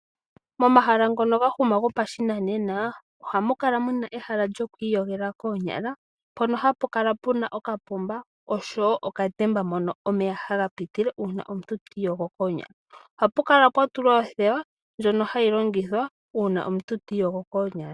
Mo mahala ngono gahuma gopashinanena ohamu kala muna ehala lyo kwiikoshela konyala mpono hapu kala puna okapomba oshowo okatemba moka omeya haga pitile uuna omuntu tiiyogo konyala , ohapu kala pwa tulwa othewa lyono hayi longithwa uuna omuntu tiiyogo konyala.